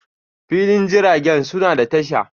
filin jiragen suna da tasha.